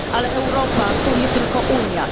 Ale Europa to nie tylko Unia.